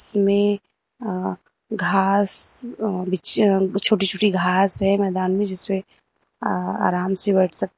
इसमें अ घास अ बिच छोटी छोटी घास है मैदान में जिसपे अ आराम से बैठ सक --